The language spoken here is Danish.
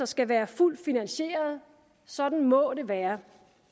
skal være fuldt finansieret sådan må det være